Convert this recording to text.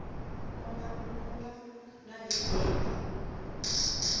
ona e ne e le